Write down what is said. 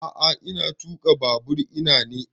A'a ina tuƙa babur ina ne